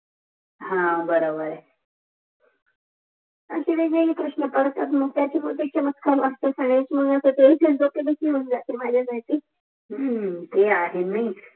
हा बराबर आहे आणि हे प्रश्न पडतात त्याच्या बदल चमत्कार वठतो ते आहे नाही